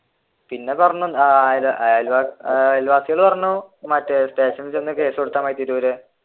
പിന്നെ അയൽവാസികൾ പറഞ്ഞു സ്റ്റേഷനിൽ ചെന്ന് കേസ് കൊടുത്ത മതി തിരൂർ